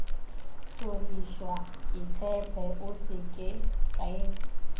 hlorišwa itshepe o se ke